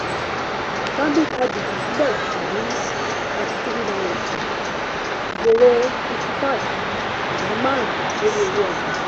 stanbic ibtc bẹ̀rẹ̀ pẹ̀lú ₦33.45 jèrè 55.5 percent lórí owó ọjà.